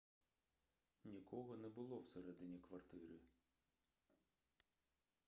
нікого не було всередині квартири